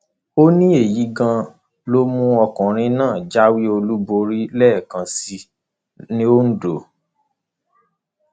ó ní èyí gan an ló mú ọkùnrin náà jáwé olúborí lẹẹkan sí i londo